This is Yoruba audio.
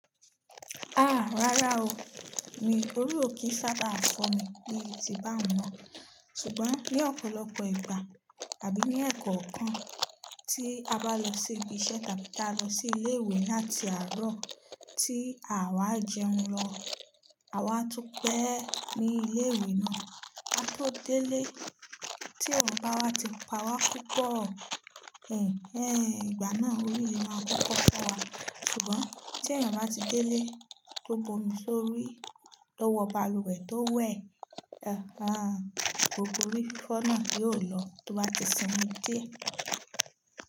Ah! Rárá o, mi ò rí òkì sábà fo mí bi ti báun mọn. Ṣùgbọ́n ní ọ̀pọ̀lọpọ̀ ìgbà àbí ní ẹ̀kọ́ kan tí a bá lọ sí ibi iṣẹ́ tàbí tí a lọ sí ilé ìwé láti àárọ̀ tí àwa jẹun lọ, àwa tún pẹ́ ní ilé ìwé náà, a tó délé tí ẹ̀wọ̀n bá wá ti pa wá kúkọ, ẹhn, ẹhn, ìgbà náà orí le máa pọ́pọ̀ fún wa. Ṣùgbọ́n tí ẹ̀yàn bá ti délé tó bu omi sórí, tó wọ balùwẹ̀ tó wẹ̀, ẹ́ẹ̀, àh, gbogbo rí fífọ́ náà yóò lọ tó bá ti sinmi díẹ̀.